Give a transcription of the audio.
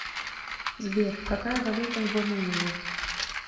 сбер какая валюта в бонэйре